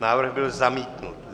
Návrh byl zamítnut.